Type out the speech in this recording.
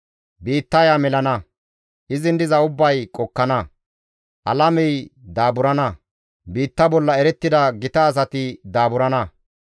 Biittaya melana; izin diza ubbay qokkana; alamey daaburana; biitta bolla erettida gita asati daaburana.